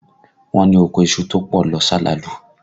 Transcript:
Wọ́n ní oko iṣu tó pọ̀ lọ salalu